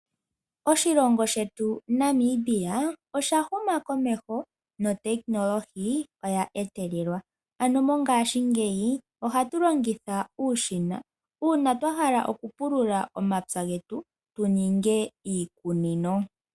Oshilongo shetu Namibia osha huma komeho, notekinolohi oya etelelwa. Ano mongashingeyi ohatu longitha uushina uuna twa hala okupulula omapya getu tu ninge iikunino.